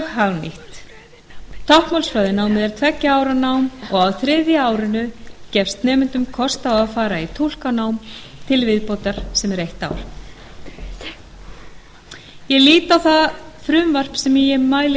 mjög hagnýtt táknmálsfræðinámið er tveggja ára nám og á þriðja árinu gefst nemendum kostur á að fara í túlkanám sem er eitt ár til viðbótar ég lít á það frumvarp sem ég mæli